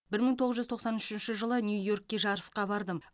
бір мың тоғыз жүз тоқсан үшінші жылы нью йоркке жарысқа бардым